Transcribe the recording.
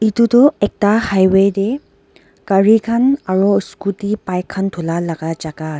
Etu tuh ekta highway dae gari khan aro scooty bike khan dhulai laga jaka ase.